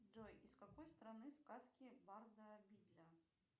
джой из какой страны сказки барда бидля